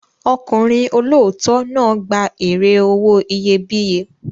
Ọkùnrin olóòótọ́ náà gba èrè owó iyebíye.